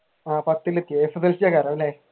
ആഹ് പത്തിലെത്തി അല്ല?